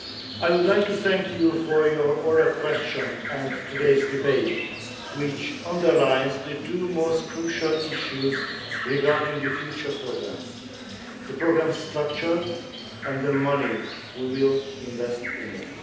I would like to thank you for your oral questions and today's debate, which underlines the two most crucial issues regarding the future programme, the programme's structure and the money we will invest in it.